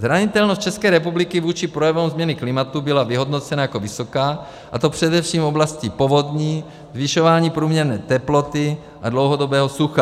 Zranitelnost České republiky vůči projevům změny klimatu byla vyhodnocena jako vysoká, a to především v oblasti povodní, zvyšování průměrné teploty a dlouhodobého sucha.